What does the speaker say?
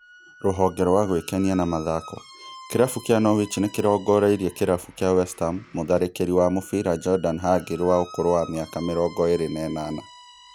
Rũhonge rwa gwĩkenia na mathako: Kĩrabu kĩa Norwich nĩrongoreirie kĩrabu kĩa West Ham mũtharĩkĩri wa mũbĩra Jordan Hugill wa ũkũrũ wa mĩaka mĩrongo ĩrĩ na ĩnana